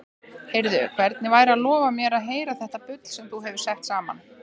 Heyrðu, hvernig væri að lofa mér að heyra þetta bull sem þú hefur sett saman?